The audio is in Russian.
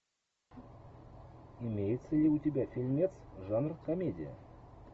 имеется ли у тебя фильмец жанр комедия